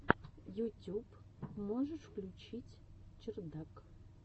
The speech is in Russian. ютюб можешь включить чердак